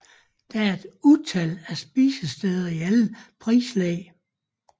Der er et utal af spisesteder i alle prislag